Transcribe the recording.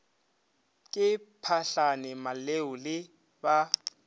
ke phahlane maleu le ba